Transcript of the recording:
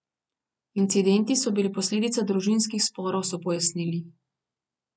Incidenti so bili posledica družinskih sporov, so pojasnili.